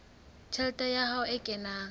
tjhelete ya hae e kenang